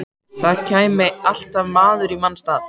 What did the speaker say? Það kæmi alltaf maður í manns stað.